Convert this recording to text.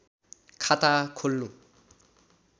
खाता खोल्नु